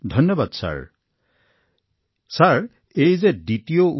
ধন্যবাদ মহোদয় এইটো দ্বিতীয়টো ঢৌ